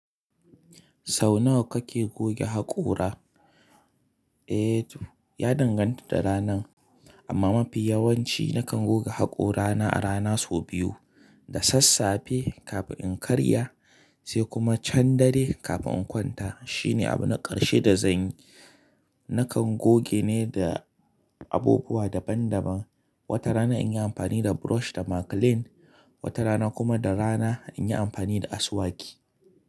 Sau nawa kake goge haƙora? Eh to, ya danganta da ranan, amma mafi yawanci nakan goga haƙora na a rana sau biyu. Da sassafe kafin in karya, sai kuma can dare kafin in kwanta. Shine abu na ƙarshe da zanyi. Nakan goge ne da abubuwa daban daban. Wata rana inyi amfani da brush da maclean, wata rana kuma da rana inyi amfani da asuwaki.